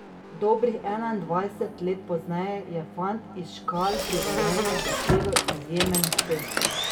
Dobrih enaindvajset let pozneje je fant iz Škal pri Velenju dosegel izjemen uspeh.